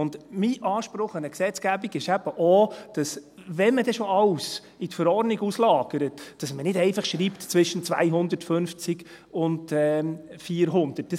Mein Anspruch an eine Gesetzgebung ist eben auch, dass man, wenn man denn schon alles in die Verordnung auslagert, dann nicht einfach schreibt, «zwischen 250 und 400».